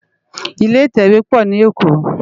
Ilé itèwé po ni Ékó